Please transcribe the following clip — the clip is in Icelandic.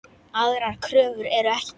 Aðrar kröfur eru ekki gerðar.